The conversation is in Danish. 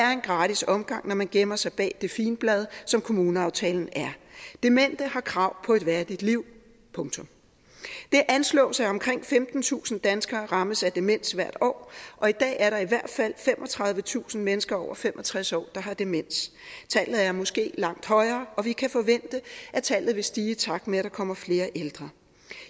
er en gratis omgang når man gemmer sig bag det figenblad som kommuneaftalen er demente har krav på et værdigt liv punktum det anslås at omkring femtentusind danskere rammes af demens hvert år og i dag er der i hvert fald femogtredivetusind mennesker over fem og tres år der har demens tallet er måske langt højere og vi kan forvente at tallet vil stige i takt med at der kommer flere ældre